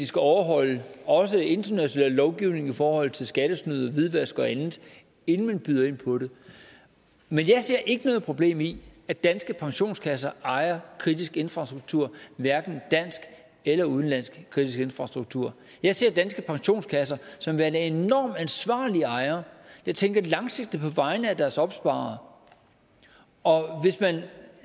skal overholde også international lovgivning i forhold til skattesnyd hvidvask og andet inden man byder ind på det men jeg ser ikke noget problem i at danske pensionskasser ejer kritisk infrastruktur hverken dansk eller udenlandsk kritisk infrastruktur jeg ser danske pensionskasser som værende enormt ansvarlige ejere der tænker langsigtet på vegne af deres opsparere og hvis man